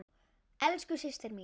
Elsku Systa mín.